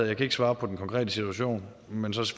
jeg kan ikke svare på den konkrete situation men så